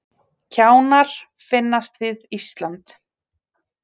Kjánar finnast við Ísland